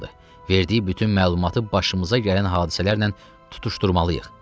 Verdiyi bütün məlumatı başımıza gələn hadisələrlə tutuşdurmalıyıq.